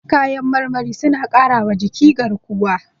Kayan marmari suna ƙarawa jiki garkuwa.